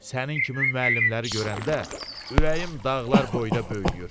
Sənin kimi müəllimləri görəndə ürəyim dağlar boyda böyüyür.